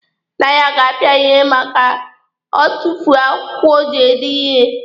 Nna ya ga-apịa ya ihe ma o tufuo akwụkwọ o ji ede ihe.